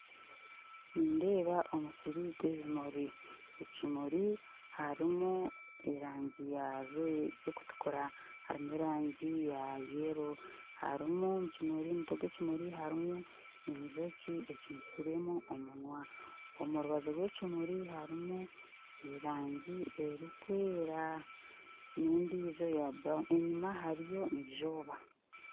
Nindeeba omusiri gwa ebimuri ekimuri harimu erangyi ekutukura harimu erangyi ya yero harumu mu kimuri mu mutwe gwa ekimuri harimu enjoki ecumisiremu omunwa omu rubaju rwa ekimuri harimu erangyi erukwera nendijo eya brown enyuma hariyo izooba